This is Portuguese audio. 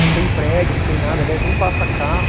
Não tem prédio, não tem nada, aliás, nem passa carro.